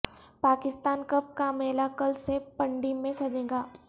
Pakistan cup کا میلہ کل سے پنڈی میں سجے گا